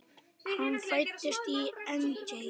Hann fæddist í Engey.